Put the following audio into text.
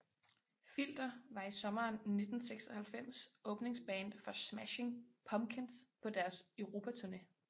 Filter var i sommeren 1996 åbningsband for Smashing Pumpkins på deres Europaturné